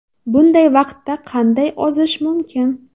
Bunday vaqtda qanday ozish mumkin?